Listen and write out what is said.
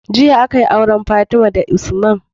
Jiya akayi auren fatima da usman